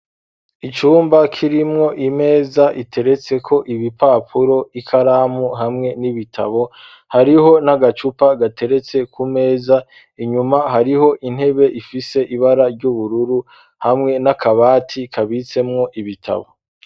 Icumba kirimwo imeza iteretse ko ibipapuro, ikaramu hamwe n'ibitabo hariho n'agacupa gateretse ku meza inyuma hariho intebe ifise ibara ry'ubururu hamwe n'akabati kabitsemwo ibitabo.